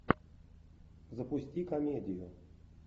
запусти комедию